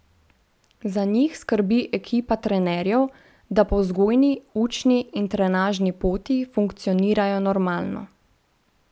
Za njih skrbi ekipa trenerjev, da po vzgojni, učni in trenažni poti funkcionirajo normalno.